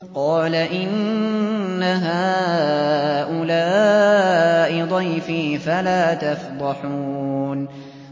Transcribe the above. قَالَ إِنَّ هَٰؤُلَاءِ ضَيْفِي فَلَا تَفْضَحُونِ